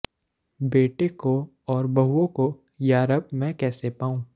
ਬੇਟੇ ਕੋ ਔਰ ਬਹੁਓਂ ਕੋ ਯਾਰਬ ਮੈਂ ਕੈਸੇ ਪਾਉਂ